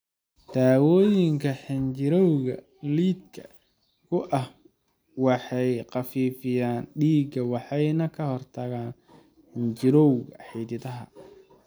Daawooyinka xinjirowga lidka ku ah waxay khafiifiyaan dhiigga waxayna ka hortagaan xinjirowga xididadaada.